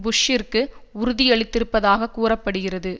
புஷ்ஷிற்கு உறுதியளித்திருப்பதாக கூற படுகிறது